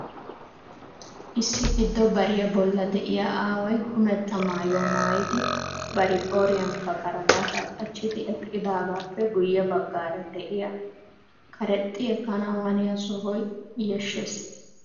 Issi giddo bariyaa bolla de'iyaa aaway kummetta maayyuwaa maayyidi bari koriyaankka karabaata qachchidi eqqidaagappe guyye baggaara de'iyaa karexxi ekkanaw haniyaa sohoy yashshees.